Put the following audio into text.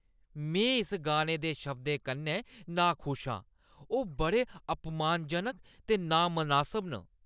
में इस गाने दे शब्दें कन्नै नाखुश आं। ओह् बड़े अपमानजनक ते नामनासब न।